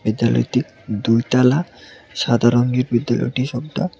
বিদ্যালয়টি দুই তালা সাদা রংয়ের ভিতরে ওটি সবটা।